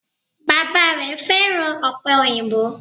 Bàbá rè fẹ́ràn òpè òyìnbó